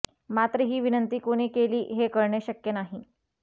मात्र ही विनंती कोणी केली हे कळणे शक्य नाही